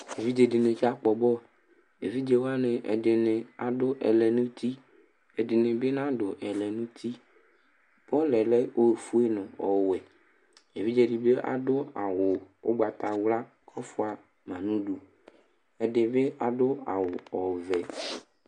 Evidze ɖi ni kakpɔ bɔlʋ Evidze waŋi, ɛɖìní aɖu ɛlɛnuti; ɛɖìní bi anaɖu ɛlɛnuti Bɔlʋ lɛ ɔfʋe ŋu ɔwɛ Evidze ɖi bi aɖu awu ugbatawla kʋ ɔfʋama ŋu ʋdu Ɛɖi bi aɖu awu ɔvɛ